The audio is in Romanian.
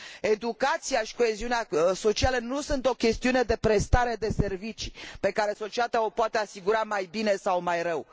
Educația și coeziunea socială nu sunt o chestiune de prestare de servicii, pe care societatea o poate asigura mai bine sau mai rău.